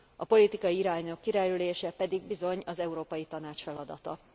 A politikai irányok kijelölése pedig bizony az Európai Tanács feladata.